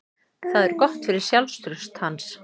Það er gott fyrir sjálfstraust hans.